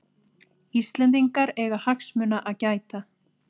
Íslendingar eiga hagsmuna að gæta